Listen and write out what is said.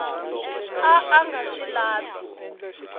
a a nga swi lavi